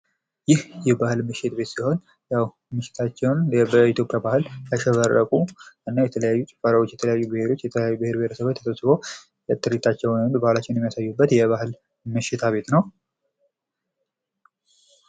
ይህ የባህል ምሽት ቤት ሲሆን ያው ምሽታቸውን በኢትዮጵያ ባህል ያሸበረቁ እና የተለያዩ ጭፈራዎች የተለያዩ ብሔሮች የተለያዩ ብሔረሰቦች ትርኢታቸውን ባህላቸውን የሚያሳዩበት መሸታ ቤት ነው።